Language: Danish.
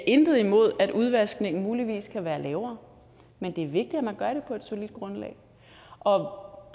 intet imod at udvaskningen muligvis kan være lavere men det er vigtigt at man gør det på et solidt grundlag og